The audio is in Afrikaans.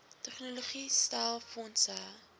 tegnologie stel fondse